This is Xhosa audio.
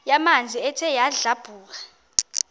yamanzi ethe yadlabhuka